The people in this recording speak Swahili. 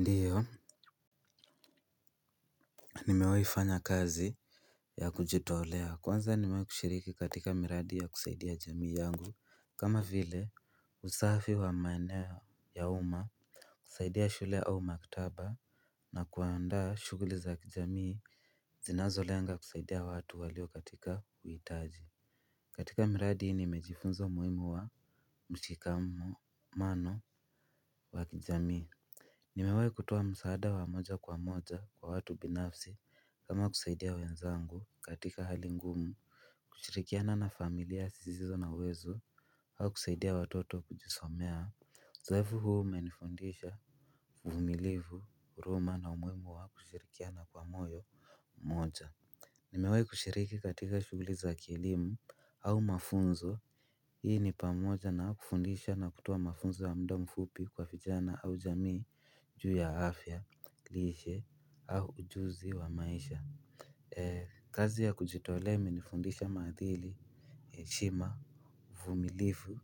Ndiyo nimewahi fanya kazi ya kujitolea kwanza nimewahi kushiriki katika miradi ya kusaidia jamii yangu. Kama vile usafi wa maeneo ya uma kusaidia shule au maktaba. Na kuandaa shughuli za kijamii zinazo lenga kusaidia watu walio katika uhitaji. Katika miradi hii nimejifunza umuhimu wa mshikamano wa kijamii nimewahi kutoa msaada wa moja kwa moja kwa watu binafsi kama kusaidia wenzangu katika hali ngumu kushirikiana na familia zisizo na uwezo au kusaidia watoto kujisomea uzoefu huu umenifundisha uvumilivu huruma na umuhimu wa kushirikiana kwa moyo mmoja nimewahi kushiriki katika shughuli za kielimu au mafunzo. Hii ni pamoja na kufundisha na kutoa mafunzo ya muda mfupi kwa vijana au jamii juu ya afya, lishe au ujuzi wa maisha. Kazi ya kujitolea imenifundisha ma adili, shima, uvumilivu